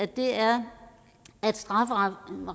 det er at strafferammen